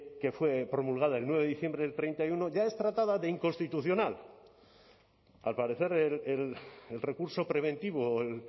que fue promulgada el nueve de diciembre del treinta y uno ya es tratada de inconstitucional al parecer el recurso preventivo el